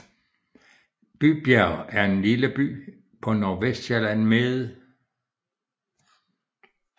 Bybjerg er en lille by på Nordvestsjælland med